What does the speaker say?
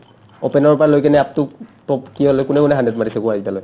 opener ৰ পৰা লৈকে কিনে up to top কিহলৈ কোনে কোনে hundred মাৰিছে কোৱা এতিয়ালৈ